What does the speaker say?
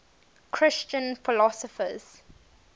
christian philosophers